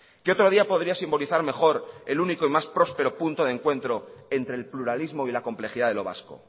qué otro día podría simbolizar mejor el único y más próspero punto de encuentro entre el pluralismo y la complejidad de lo vasco